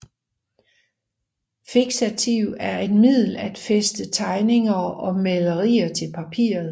Fiksativ er et middel at fæstne tegninger og malerier til papiret